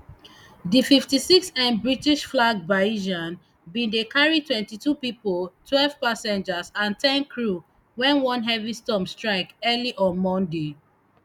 di fifty-sixm britishflagged bayesian bin dey carry twenty-two pipo twelve passengers and ten crew wen one heavy storm strike early on monday